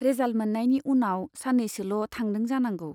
Result मोननायनि उनाव साननैसोल' थांदों जानांगौ।